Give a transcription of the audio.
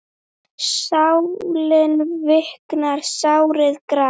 Sálin viknar, sárið grær.